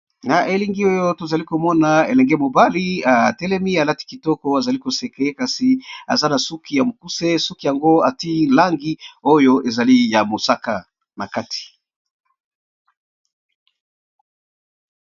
Na elili oyo tozali komona elenge mobali atelemi alati kitoko azalikoseke, kasi aza na suki ya mukuse suki yango ati langi oyo ezali ya mosaka makati.